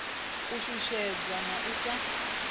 u shushedzwa na u sa